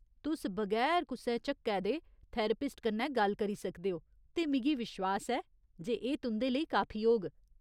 तुस बगैर कुसै झक्कै दे थेरेपिस्ट कन्नै गल्ल करी सकदे ओ ते मिगी विश्वास ऐ जे एह् तुं'दे लेई काफी होग।